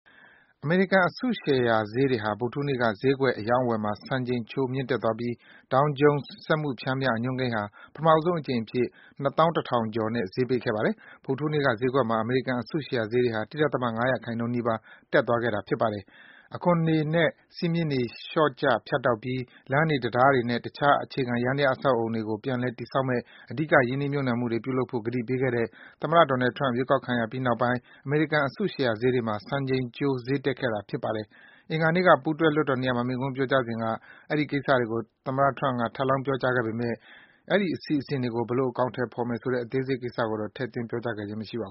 အမေရိကန် အစုရှယ်ဈေးတွေဟာ ဗုဒ္ဓဟူးနေ့က ဈေးကွက် အရောင်းအဝယ်မှာ စံချိန်ကျိုး မြင့်တက်သွားပြီး Dow Jones စက်မှု ပျမ်းမျှ အညွန်းကိန်းဟာ ပထမဦးဆုံးအကြိမ်အဖြစ် ၂၁,၀၀၀ ကျော်နဲ့ ဈေးပိတ်ခဲ့ပါတယ်။ ဗုဒ္ဓဟူးနေ့က ဈေးကွက်မှာ အမေရိကန် အစုရှယ်ယာဈေးဟာ ၁.၅% နီးပါး တက်သွားခဲ့တာ ဖြစ်ပါတယ်။ အခွန်ငွေတွေနဲ့ စည်းမျဉ်းတွေ လျော့ကျ ဖြတ်တောက်ပြီး လမ်းတွေ တံတားတွေနဲ့ တခြား အခြေခံ ယန္တယား အဆောက်အဦးတွေကို ပြန်လည် တည်ဆောက်မယ့် အဓိက ရင်းနှီးမြှုပ်နှံမှုတွေ ပြုလုပ်ဖို့ ကတိပေးခဲ့တဲ့ သမ္မတ Donald Trump ရွေးကောက်ခံခဲ့ရပြီး နောက်ပိုင်း အမေရိကန် အစုရှယ်ယာ ဈေးကွက်တွေမှာ စံချိန်ကျိုး ဈေးတက်ခဲ့တာ ဖြစ်ပါတယ်။ အင်္ဂါနေ့က ပူးတွဲ လွှတ်တော်နှစ်ရပ်မှာ မိန့်ခွန်းပြောကြားစဉ်က အထက်ပါ ကတိတွေကို Trump က ထပ်လောင်း ပြောကြားခဲ့ပေမယ့် အဲဒီ အစီအစဉ်တွေကို ဘယ်လို အကောင်အထည်ဖော်မယ်ဆိုတဲ့ အသေးစိတ်တွေကို ထည့်သွင်း ပြောကြားခဲ့ခြင်း မရှိပါ